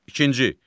İkinci.